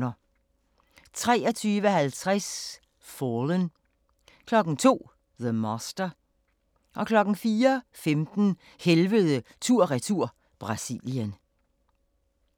23:50: Fallen 02:00: The Master 04:15: Helvede tur/retur - Brasilien